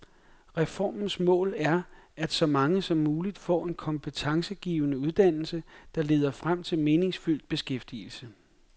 Reformens mål er, at så mange som muligt får en kompetencegivende uddannelse, der leder frem til meningsfyldt beskæftigelse.